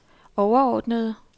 overordnede